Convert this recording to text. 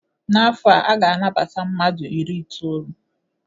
N'afọ a, a ga-anabata mmadụu iri itolu.